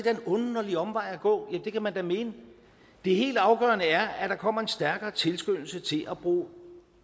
er en underlig omvej at gå ja det kan man da mene det helt afgørende er at der kommer en stærkere tilskyndelse til at bruge